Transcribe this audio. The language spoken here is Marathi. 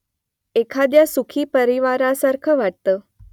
एखाद्या सुखी परिवारासारखं वाटतं